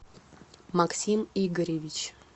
максим игоревич